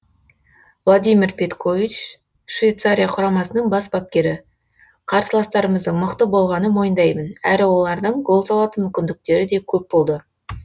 владимир петкович швейцария құрамасының бас бапкері қарсыластарымыздың мықты болғанын мойындаймын әрі олардың гол салатын мүмкіндіктері де көп болды